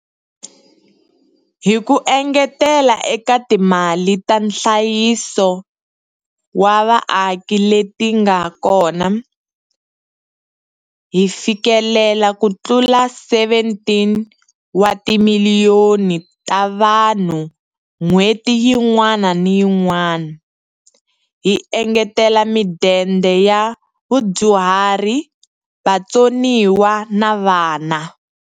Hi ku engetela eka timali ta nhlayiso wa vaaki leti nga kona, hi fikelela kutlula 17 wa timiliyoni ta vanhu n'hweti yin'wana na yin'wana, hi engetele Midende ya Vadyuhari, Vatsoniwa na Vana.